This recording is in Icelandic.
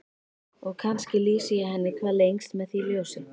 Og kannski lýsi ég henni hvað lengst með því ljósi.